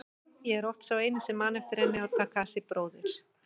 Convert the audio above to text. Ég er oft sá eini sem man eftir henni og Takashi bróðir.